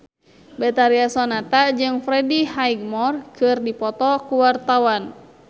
Betharia Sonata jeung Freddie Highmore keur dipoto ku wartawan